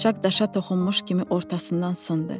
Bıçaq daşa toxunmuş kimi ortasından sındı.